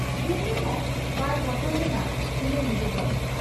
ᱰᱩᱢᱱᱤᱦᱚᱸ ᱵᱟᱭ ᱵᱚᱛᱚᱨ ᱞᱮᱱᱟ ᱤᱱᱟᱹ ᱧᱤᱫᱟᱹᱫᱚ ᱾